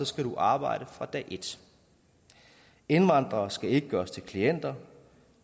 skal du arbejde fra dag et indvandrere skal ikke gøres til klienter